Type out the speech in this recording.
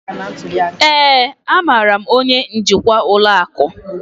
ee, amaara m onye njikwa ụlọ akụ